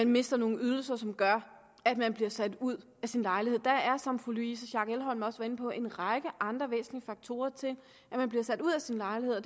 mister nogle ydelser som gør at man bliver sat ud af sin lejlighed der er som fru louise schack elholm også var inde på en række andre væsentlige faktorer til at man bliver sat ud af sin lejlighed